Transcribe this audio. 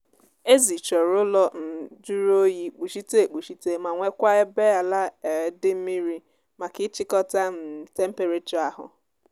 ezi chọrọ ụlọ um jụrụ oyi kpuchite ekpuchite ma nwekwaa ebe ala um dị mmiri maka ịchịkọta um temperachọ ahu